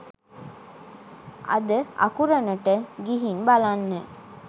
අද අකුරණට ගිහින් බලන්න